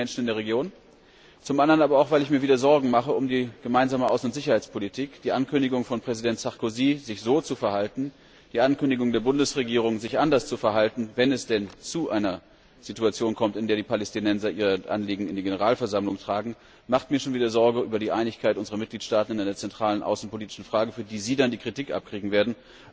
Zum einen für die Menschen in der Region, zum anderen aber auch weil ich mir wieder um die Gemeinsame Außen und Sicherheitspolitik Sorgen mache. Die Ankündigung von Präsident Sarkozy, sich so zu verhalten, die Ankündigung der Bundesregierung, sich anders zu verhalten, wenn es denn zu einer Situation kommt, in der die Palästinenser ihre Anliegen in die Generalversammlung tragen, gibt mir schon wieder Anlass zur Sorge über die Einigkeit unserer Mitgliedstaaten in einer zentralen außenpolitischen Frage, für die Sie dann die Kritik abkriegen werden.